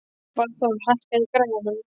Valþór, hækkaðu í græjunum.